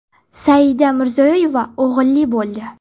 Saida Mirziyoyeva o‘g‘illi bo‘ldi.